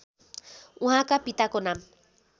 उहाँका पिताको नाम